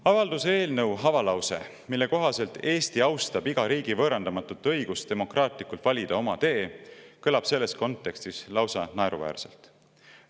Avalduse eelnõu avalause, mille kohaselt Eesti austab iga riigi võõrandamatut õigust demokraatlikult valida oma tee, kõlab selles kontekstis lausa naeruväärselt.